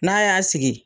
N'a y'a sigi